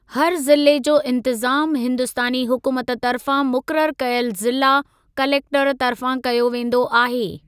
हर ज़िले जो इंतिज़ामु हिंदुस्तानी हुकूमत तर्फ़ां मुक़ररु कयल ज़िला कलेक्टरु तर्फ़ां कयो वेंदो आहे।